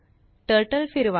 turtle फिरवा